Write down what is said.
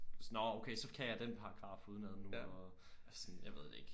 Nårh okay så kan jeg den paragraf uden ad nu og altså sådan jeg ved det ikke